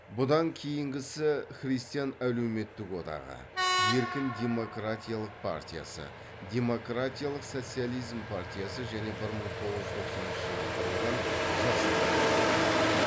бұдан кейінгісі христиан әлеуметтік одағы еркін демократиялық партиясы демократиялық социализм партиясы және бір мың тоғыз жүз тоқсаныншы жылы құрылған жасылдар одағы